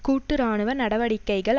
கூட்டு இராணுவ நடவடிக்கைகள்